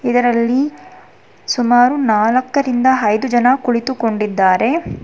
ಇದರಲ್ಲಿ ಸುಮಾರು ನಾಲ್ಕರಿಂದ ಐದು ಜನ ಕುಳಿತುಕೊಂಡಿದ್ದಾರೆ.